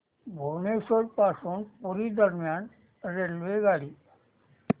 भुवनेश्वर पासून पुरी दरम्यान रेल्वेगाडी